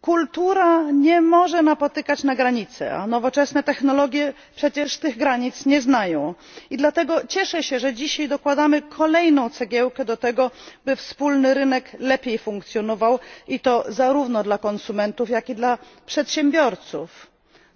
Kultura nie może napotykać granic, a nowoczesne technologie przecież tych granic nie znają i dlatego cieszę się, że dzisiaj dokładamy kolejną cegiełkę do tego, by wspólny rynek lepiej funkcjonował, i to zarówno dla konsumentów, jak i dla przedsiębiorców.